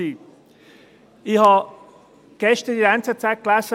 Ich habe gestern in der «Neue Zürcher Zeitung (NZZ)» gelesen: